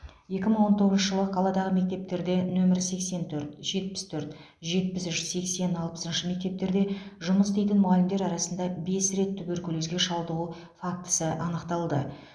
екі мың он тоғызыншы жылы қаладағы мектептерде нөмір сексен төрт жетпіс төрт жетпіс үш сексен алпысыншы мектептерде жұмыс істейтін мұғалімдер арасында бес рет туберкулезге шалдығу фактісі анықталды